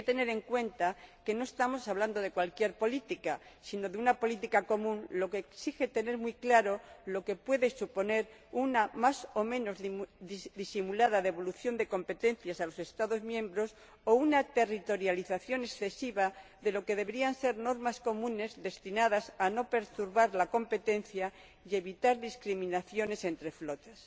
Y hay que tener en cuenta que no estamos hablando de cualquier política, sino de una política común, lo que exige tener muy claro lo que puede suponer una más o menos disimulada devolución de competencias a los Estados miembros o una territorialización excesiva de lo que deberían ser normas comunes destinadas a no perturbar la competencia y a evitar discriminaciones entre flotas.